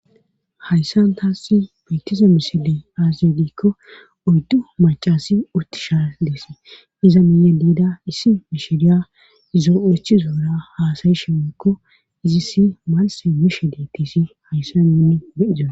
hayssan taassi baettize misiley aaziydikko oddu macasi utti shaa deesi iza miiye diida issi mishiriya izoo7echi zoura haasayishe woykko izisi malse mishe dettisi hayssa nuni beiza